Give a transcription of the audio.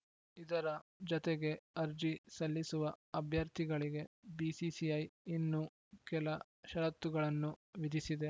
ಇದರ ಜತೆಗೆ ಅರ್ಜಿ ಸಲ್ಲಿಸುವ ಅಭ್ಯರ್ಥಿಗಳಿಗೆ ಬಿಸಿಸಿಐ ಇನ್ನೂ ಕೆಲ ಷರತ್ತುಗಳನ್ನು ವಿಧಿಸಿದೆ